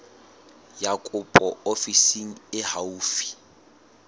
ya kopo ofising e haufi